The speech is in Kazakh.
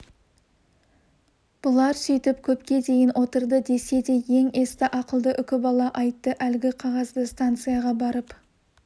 бұлар сөйтіп көпке дейін отырды десе де ең есті ақылды үкібала айтты әлгі қағазды станцияға барып